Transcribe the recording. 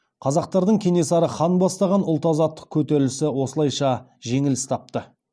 қазақтардың кенесары хан бастаған ұлт азаттық көтерілісі осылайша жеңіліс тапты